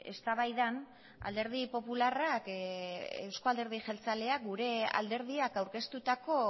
eztabaidan alderdi popularrak euzko alderdi jeltzaleak gure alderdiak aurkeztutako